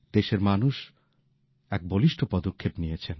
দেশের মানুষ এক বলিষ্ঠ পদক্ষেপ নিয়েছেন